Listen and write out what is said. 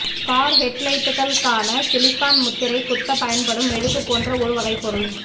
car ஹெட்லைட்டுகள் க்கான silicone முத்திரை குத்தப் பயன்படும் மெழுகு போன்ற ஒரு வகைப் பொருள்